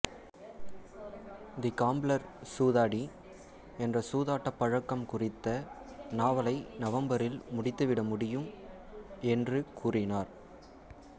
தி gambler சூதாடி என்ற சூதாட்ட பழக்கம் குறித்த நாவலை நவம்பரில் முடித்துவிட முடியும் என்று கூறினார்